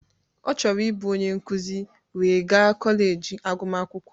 Ọ chọrọ ịbụ onye nkuzi wee gaa kọleji agụmakwụkwọ